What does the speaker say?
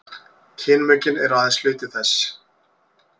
kynmökin eru aðeins hluti þess